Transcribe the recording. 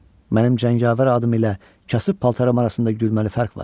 Mənim cəngavər adım ilə kasıb paltaram arasında gülməli fərq var.